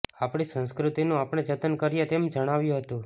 આપણી સંસ્કૃતિનું આપણે જતન કરીએ તેમ જણાવ્યુ હતુ